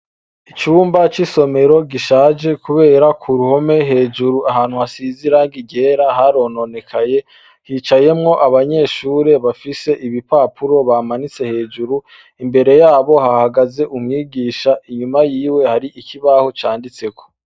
Icumba c'isomero gishaje kubera ku ruhome hejuru ahantu hasize irangi ryera harononekaye hicayemwo abanyeshure bafise ibipapuro bamanitse hejuru imbere yabo hahagaze umwigisha inyuma yiwe hari ikibaho canditseko.